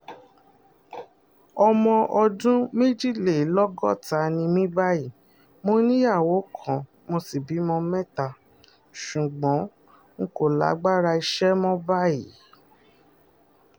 ọmọ ọdún méjìlélọ́gọ́ta ni mí báyìí mo níyàwó kan mo sì bímọ mẹ́ta ṣùgbọ́n n kò lágbára iṣẹ́ mọ́ báyìí